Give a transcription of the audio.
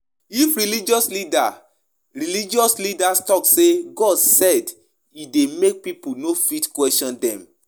E de make dem fit use pipo as dem want because di pipo de fear God